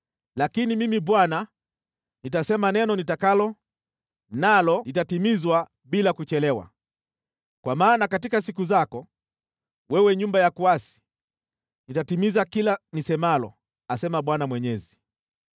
Lakini Mimi Bwana nitasema neno nitakalo, nalo litatimizwa bila kuchelewa. Kwa maana katika siku zako, wewe nyumba ya kuasi, nitatimiza kila nisemalo, asema Bwana Mwenyezi.’ ”